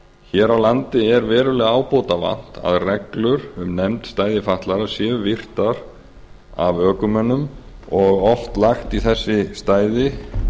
hér á landi er verulega ábótavant að reglur um nefnd stæði fatlaðra séu virtar af ökumönnum og oft lagt í þessi stæði